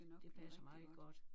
Det passer meget godt